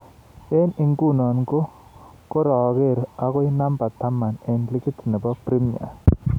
Eng inguno ko kokorek akoi number taman eng ligit nebo premia